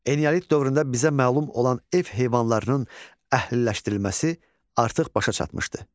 Eneolit dövründə bizə məlum olan ev heyvanlarının əhliləşdirilməsi artıq başa çatmışdı.